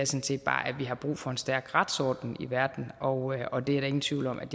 set bare at vi har brug for en stærk retsorden i verden og og det er der ingen tvivl om at